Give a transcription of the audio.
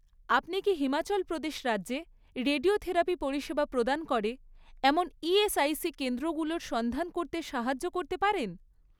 আপনি কি হিমাচল প্রদেশ রাজ্যে রেডিওথেরাপি পরিষেবা প্রদান করে এমন ইএসআইসি কেন্দ্রগুলোর সন্ধান করতে সাহায্য করতে পারেন?